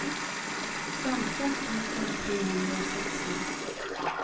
femton tusen trehundrasexton